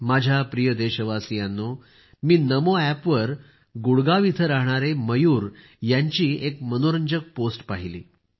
माझ्या प्रिय देशवासियांनो मी नामोएपवर गुडगाव येथे राहणारे मयूर यांची एक मनोरंजक पोस्ट पहिली